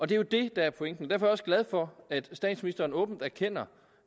det er jo det der er pointen derfor også glad for at statsministeren åbent erkender